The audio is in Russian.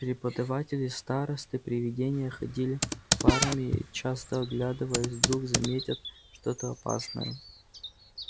преподаватели старосты привидения ходили парами часто оглядываясь вдруг заметят что-то опасное